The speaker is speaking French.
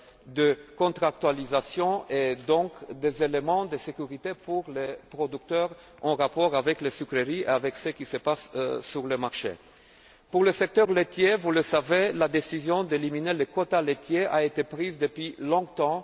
de contractualisation et donc des éléments de sécurité pour les producteurs, en rapport avec les sucreries et avec ce qui se passe sur le marché. Pour le secteur laitier, vous le savez, la décision d'éliminer les quotas laitiers a été prise depuis longtemps.